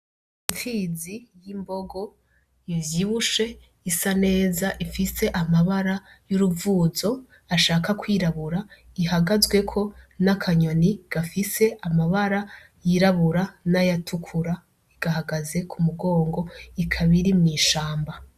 Ipfizi y'imbogo ivyibushe isa neza ifise amabara y'uruvuzo ashaka kwirabura ihagazwe ko na kanyoni gafise amabara yirabura nayatukura gahagaze kumugongo ikaba iri mwishamba.